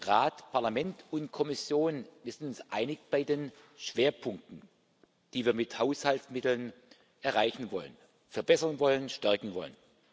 Rat, Parlament und Kommission wir sind uns einig bei den Schwerpunkten, die wir mit Haushaltsmitteln erreichen wollen, verbessern wollen, stärken wollen.